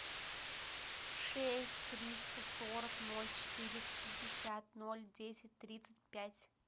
шесть триста сорок ноль четыреста пятьдесят ноль десять тридцать пять